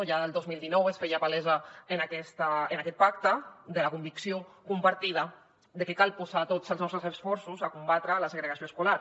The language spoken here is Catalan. ja el dos mil dinou es feia palesa en aquest pacte la convicció compartida de que cal posar tots els nostres esforços a combatre la segregació escolar